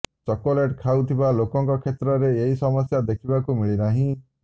chocolate ଖାଉଥିବା ଲୋକଙ୍କ କ୍ଷେତ୍ରରେ ଏହି ସମସ୍ୟା ଦେଖିବାକୁ ମିଳନାହିଁ